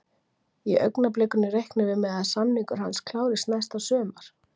Í augnablikinu reiknum við með að samningur hans klárist næsta sumar.